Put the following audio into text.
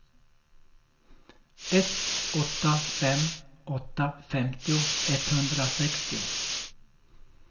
ett åtta fem åtta femtio etthundrasextio